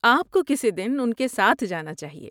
آپ کو کسی دن ان کے ساتھ جانا چاہیے۔